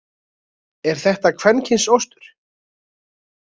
Er þetta kvenkyns ostur?